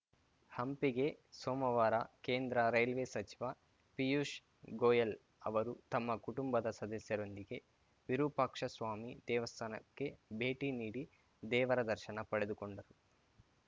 ಹಂಪಿಗೆ ಸೋಮವಾರ ಕೇಂದ್ರ ರೈಲ್ವೆ ಸಚಿವ ಪಿಯೂಷ್‌ ಗೋಯಲ್‌ ಅವರು ತಮ್ಮ ಕುಟುಂಬದ ಸದಸ್ಯರೊಂದಿಗೆ ವಿರೂಪಾಕ್ಷಸ್ವಾಮಿ ದೇವಸ್ಥಾನಕ್ಕೆ ಭೇಟಿ ನೀಡಿ ದೇವರ ದರ್ಶನ ಪಡೆದುಕೊಂಡರು